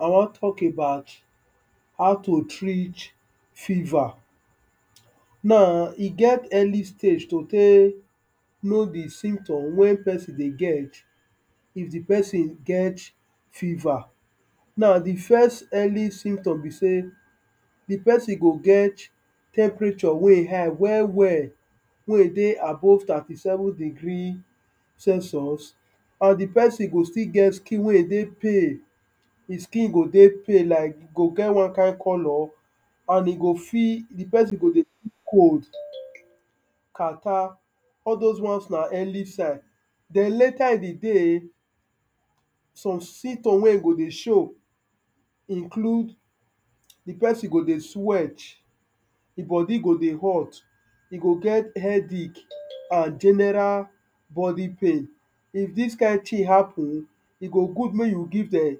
I wan talk about how to treat fever Now e get early stage to take know the symptoms wey person they get, if the person gets fiver. Now, the first early symptom be sey, the person go get temperature wey e high well well, wey e dey above thirty seven degree Celsius and the person go still get skin wey they pail, he skin go dey pail like go get one kind color and e go feel, the person go dey cold, catarrh. all dose ones now early sign. Den later in the day, some symptoms wey e go they show include,, the person go dey sweat, e body go dey hot, e go get headache, and general body pain. If dis kind thing happen, e go good may you give dem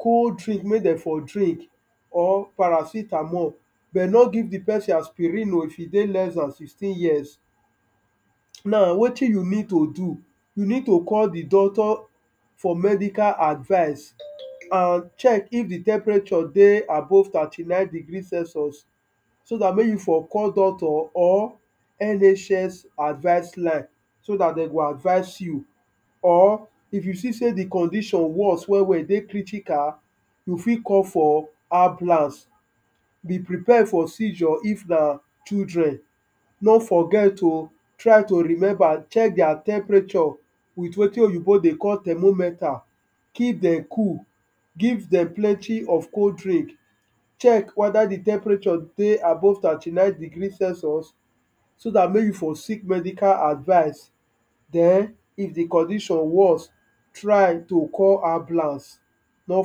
cold drink make dem for drink or paracetamol, but no give the person aspirin oh, if e dey less than sixteen years. Now, wetin you need to do, you need to call the doctor for medical advice, and check if the temperature dey above thirty nine degree Celsius, so dat may you for call doctor or NHS advice line, so that they go advice you, or if you see say the condition worse well well, e dey critical, you fit call for ambulance be prepare for seizure if na children. No forget oh. try to remember, check their temperature, with wetin oyinbo dey call thermometer. Keep dem cool,, give dem plenty of cold drink, check whether the temperature dey above thirty nine degree celsius, so dat may you for seek medical advice. Den if the condition worse, try to call ambulance, no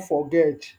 forget.